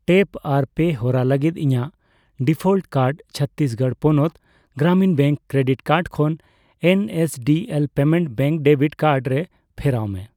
Tap ᱟᱨ ᱯᱮ ᱦᱚᱨᱟ ᱞᱟᱹᱜᱤᱛ ᱤᱧᱟ.ᱜ ᱰᱤᱯᱷᱚᱞᱴ ᱠᱟᱨᱰ ᱪᱷᱚᱛᱛᱤᱥᱜᱚᱲ ᱯᱚᱱᱚᱛ ᱜᱨᱟᱢᱤᱱ ᱵᱮᱝᱠ ᱠᱨᱮᱰᱤᱴ ᱠᱟᱨᱰ ᱠᱷᱚᱱ NSDL Payments Bank debit card ᱨᱮ ᱯᱷᱮᱨᱟᱣ ᱢᱮ ᱾